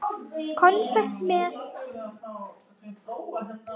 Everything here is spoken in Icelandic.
Konfekt með.